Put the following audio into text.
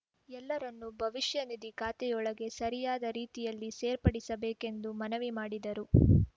ಎಲ್ಲರನ್ನೂ ಭವಿಷ್ಯನಿಧಿ ಖಾತೆಯೊಳಗೆ ಸರಿಯಾದ ರೀತಿಯಲ್ಲಿ ಸೇರ್ಪಡಿಸಬೇಕೆಂದು ಮನವಿ ಮಾಡಿದರು